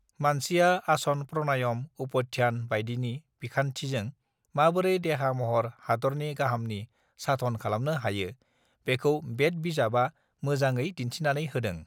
मानसिया आसन प्रानायाम उपध्यान बायदिनि बिखान्थिजों माबोरै देहा महर हादरनि गाहामनि साधन खालामनो हायो बेखौ बेद बिजाबआ मोजाङै दिन् थिनानै होदों